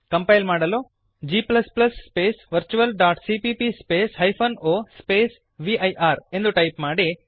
compile ಮಾಡಲು g space virtualಸಿಪಿಪಿ space hyphen o space ವಿರ್ ಎಂದು ಟೈಪ್ ಮಾಡಿರಿ